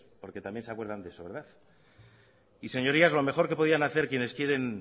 porque también se acuerdan de eso verdad y señorías lo mejor que podrían hacer quienes quieren